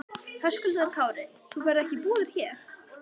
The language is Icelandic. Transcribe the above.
Höskuldur Kári: Þú ferð ekki í búðir hér?